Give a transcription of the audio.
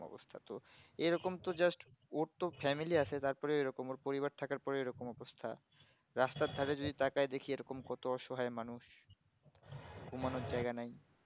এরকম তো just ওর তো family আসে তারপরে ওই রকম ওর পরিবার থাকার পরেও ওরকম অবস্থা রাস্তার ধারে যদি তাকাই দেখি এরকম কত অসহায় মানুষ ঘুমানোর জায়গা নাই